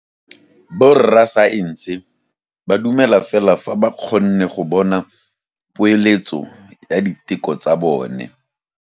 Borra saense ba dumela fela fa ba kgonne go bona poeletsô ya diteko tsa bone.